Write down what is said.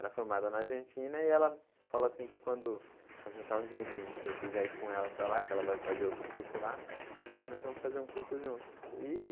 Ela é formada na Argentina e ela falou assim que quando ajuntar um dinheirinho que eu quiser ir com ela para lá, que ela vai fazer outro curso lá, nós vamos fazer um curso junto e.